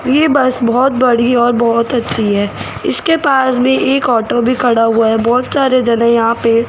ये बस बहोत बड़ी और बहोत अच्छी है इसके पास भी एक ऑटो भी खड़ा हुआ है बहोत सारे जन है यहां पे।